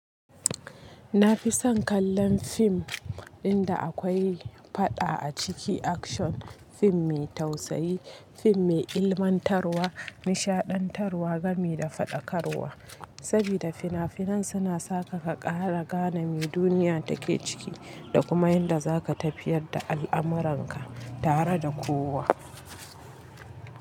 Na fi son kallon fim ɗin da akwai faɗa a ciki, action, fim mai tausayi, fim mai ilmantarwa, nishaɗantarwa, gami da faɗakarwa. Sabida fina-finan suna saka ka ƙara gane mi duniya take ciki da kuma yanda za ka tafiyar da al'amuranka tare da kowa.